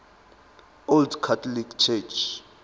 old catholic church